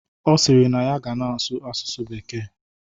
Ọ sịrị na ya ga na-asụ asụsụ bekee